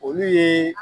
Olu ye